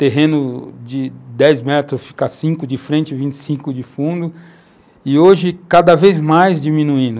Terreno de 10 metros fica 5 de frente, 25 de fundo, e hoje cada vez mais diminuindo.